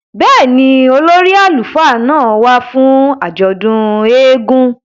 Bẹ́ẹ̀ni, ólori àlufa náa wa fun àjọdun èègún